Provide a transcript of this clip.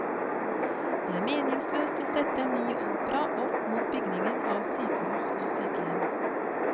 Det er meningsløst å sette en ny opera opp mot bygging av sykehus og sykehjem.